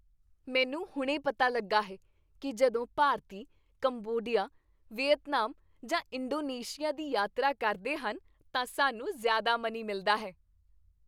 ਮੈਨੂੰ ਹੁਣੇ ਪਤਾ ਲੱਗਾ ਹੈ ਕੀ ਜਦੋਂ ਭਾਰਤੀ ਕੰਬੋਡੀਆ, ਵੀਅਤਨਾਮ, ਜਾਂ ਇੰਡੋਨੇਸ਼ੀਆ ਦੀ ਯਾਤਰਾ ਕਰਦੇ ਹਨ ਤਾਂ ਸਾਨੂੰ ਜ਼ਿਆਦਾ ਮਨੀ ਮਿਲਦਾ ਹੈ।